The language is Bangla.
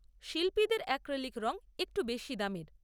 শিল্পীদের অ্যাক্রিলিক রঙ একটু বেশি দামের।